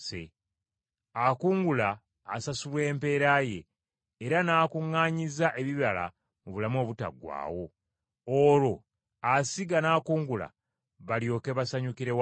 Akungula asasulwa empeera ye era n’akuŋŋaanyiza ebibala mu bulamu obutaggwaawo, olwo asiga n’akungula balyoke basanyukire wamu.